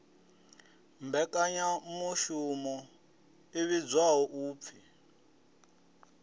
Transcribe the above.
mmbekanyamushumo i vhidzwaho u p